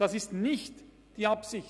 Das ist nicht die Absicht.